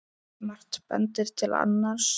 Margt bendir til annars.